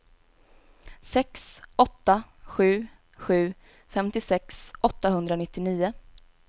sex åtta sju sju femtiosex åttahundranittionio